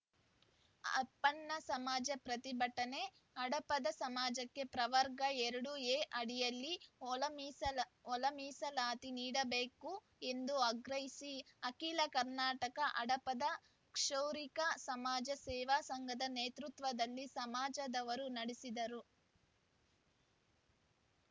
ಅಪ್ಪಣ್ಣ ಸಮಾಜ ಪ್ರತಿಭಟನೆ ಹಡಪದ ಸಮಾಜಕ್ಕೆ ಪ್ರವರ್ಗ ಎರಡು ಎ ಅಡಿಯಲ್ಲಿ ಒಳ ಒಳಮೀಸಲಾತಿ ನೀಡಬೇಕು ಎಂದು ಆಗ್ರಹಿಸಿ ಅಖಿಲ ಕರ್ನಾಟಕ ಹಡಪದ ಕ್ಷೌರಿಕ ಸಮಾಜ ಸೇವಾ ಸಂಘದ ನೇತೃತ್ವದಲ್ಲಿ ಸಮಾಜದವರು ನಡೆಸಿದರು